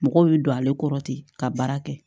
Mɔgɔw bɛ don ale kɔrɔ ten ka baara kɛ